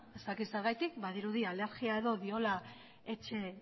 ez dakit zergatik badirudi alergia edo diola etxe